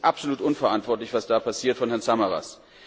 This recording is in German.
Das ist absolut unverantwortlich, was da passiert von Herrn Samaras.